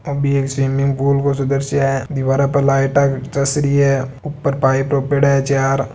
swimming pool को दीवारा पर लाइट चस रही हैपाइप रोपोयडा है चार--